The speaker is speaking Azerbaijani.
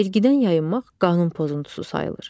Vergidən yayınmaq qanun pozuntusu sayılır.